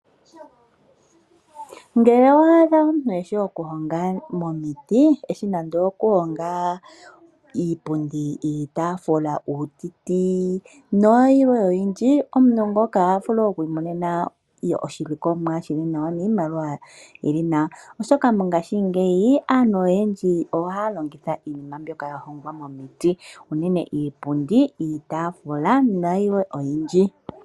Ngele owa adha omuntu eshi okulonga omiti, eshi nande oku honga iipundi, iitaafula, uutiti nayilwe oyindji, omuntu ngoka oha vulu oku imonena oshilikomwa shili nawa niimaliwa yili nawa, oshoka mongaashingeyi aantu oyendji ohaya longitha iinima mbyoka ya longwa momiti unene iipundi, iitaafula nayilwe oyindji.